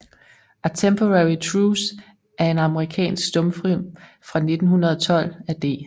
A Temporary Truce er en amerikansk stumfilm fra 1912 af D